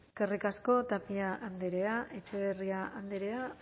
eskerrik asko tapia andrea etxebarria andrea